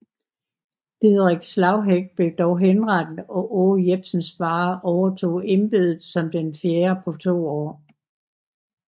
Didrik Slagheck blev dog henrettet og Aage Jepsen Sparre overtog embedet som den fjerde på to år